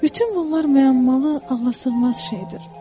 Bütün bunlar müəmmalı, ağlasığmaz şeydir.